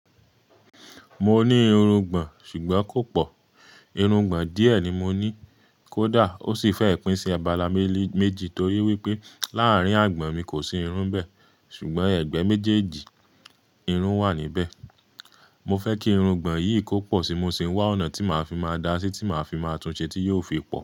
Mo ní irungbọ̀n ṣùgbọ́n kò pọ̀. Irungbọ̀n díẹ̀ ni mo ní, kódà ó sì fẹ́ pín sí abala méjì torí wípé láàrín àgbọ̀n mi kò sí irun bẹ́ẹ̀ ṣùgbọ́n ẹ̀gbẹ́ méjèèjì irun wà níbẹ̀. Mo fẹ́ kí irungbọ̀n yìí kó pọ̀ síi mo sì ń wá ọ̀nà tí màá fi má a dáa sí ti màá fi máa túnse tí yóò fi pọ̀.